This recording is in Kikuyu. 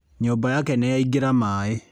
Nyũmba yake nĩ yaingĩra maĩ.